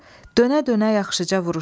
Dönə-dönə yaxşıca vuruşdu.